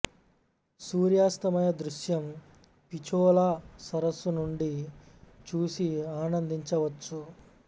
సూర్యాస్తమయ దృశ్యం పిచోలా సరసు నుండి చూసి ఆనందించ వచ్చు